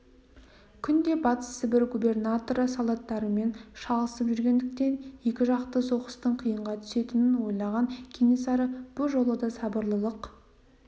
күнде батыс сібір губернаторы солдаттарымен шалысып жүргендіктен екі жақты соғыстың қиынға түсетінін ойлаған кенесары бұ жолы да сабырлылық